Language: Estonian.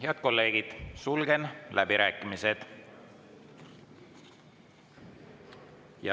Head kolleegid, sulgen läbirääkimised.